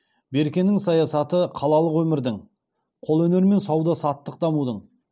беркенің саясаты қалалық өмірдің қолөнер мен сауда саттық дамудың